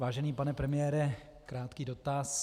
Vážený pane premiére, krátký dotaz.